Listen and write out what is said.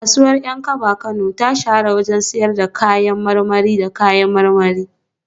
Kasuwar Yankaba Kano ta shahara wajen sayar da kayan marmari da kayan marmari